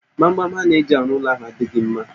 Gbamgbam ha na-eji arụ ụlọ ahụ adịghi mma